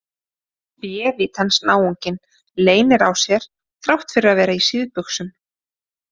Bévítans náunginn leynir á sér þrátt fyrir að vera í síðbuxum!